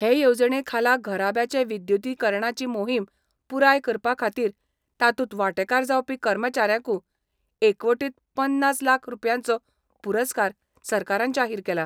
हे येवजणे खाला घराब्यांचे विद्युतीकरणाची मोहिम पुराय करपाखातीर तातुंत वांटेकार जावपी कर्मचाऱ्यांकु एकवटीत पन्नास लाख रुपयांचो पुरस्कार सरकारान जाहिर केला.